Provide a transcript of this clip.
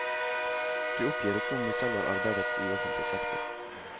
Du oppgir ikke om du selv har arbeidet i offentlig sektor.